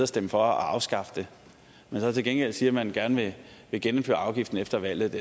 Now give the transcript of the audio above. stemmer for at afskaffe den men så til gengæld siger at man gerne vil genindføre afgiften efter valget